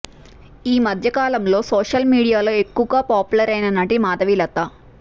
ఈ మధ్యకాలంలో సోషల్ మీడియాలో ఎక్కువగా పాపులర్ అయిన నటి మాధవీలత